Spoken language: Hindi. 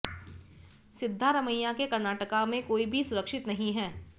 सिद्धारमैया के कर्नाटका में कोई भी सुरक्षित नहीं है